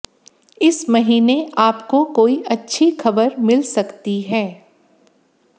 इस महीने आपको कोई अच्छी खबर मिल सकती है